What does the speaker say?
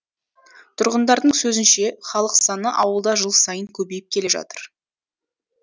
тұрғындардың сөзінше халық саны ауылда жыл сайын көбейіп келе жатыр